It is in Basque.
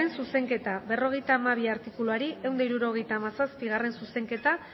zuzenketa berrogeita hamabi artikuluari ehun eta hirurogeita hamazazpigarrena zuzenketa